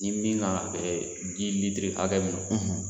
Nin min ka kan ka ji litiri hakɛ min ma